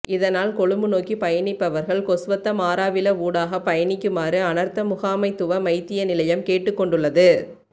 இதனால் கொழும்பு நோக்கி பயணிப்பவர்கள் கொஸ்வத்த மாரவில ஊடாக பயணிக்குமாறு அனர்த்த முகாமைத்துவ மைத்திய நிலையம் கேட்டுக்கொண்டுள்ளது